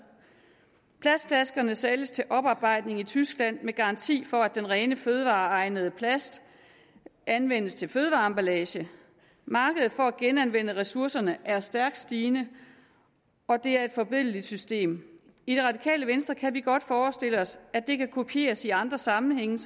plastflaskerne sælges til bearbejdning i tyskland med garanti for at den rene fødevareegnede plast anvendes til fødevareemballage markedet for at genanvende ressourcerne er stærkt stigende og det er et forbilledligt system i det radikale venstre kan vi godt forestille os at det kan kopieres i andre sammenhænge